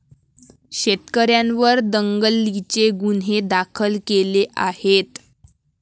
शेतकऱ्यांवर दंगलीचे गुन्हे दाखल केले आहेत.